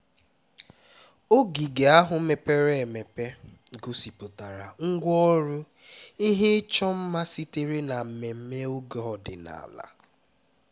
ogige ahụ mepere emepe gosipụtara ngwa ọrụ na ihe ịchọ mma sitere na mmemme oge ọdịnala